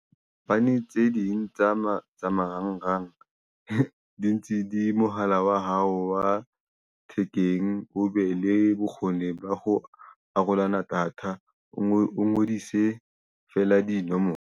Bane tse ding tsa mo tsa marangrang di ntse di mohala wa hao wa thekeng, o be le bokgoni ba ho arolana data o ngodise feela dinomoro.